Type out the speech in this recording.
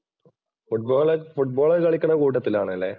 Football‍ ഒക് football‍ ഒക്കെ കളിക്കുന്ന കൂട്ടത്തിലാണല്ലേ?